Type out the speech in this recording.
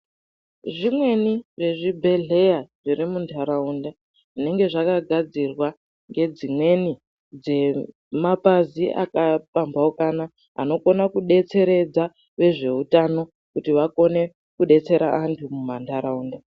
Zvimweni zvezvibhedhlera zviri mundaraunda zvinenge zvakagadzirwa ngedzimweni dzemapazi akapambaukana anokona kudetseredza ngezveutano kuti wakone kudetsera antu mumandaraunda.